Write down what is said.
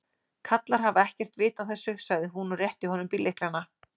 Kallar hafa ekkert vit á þessu sagði hún og rétti honum bíllyklana.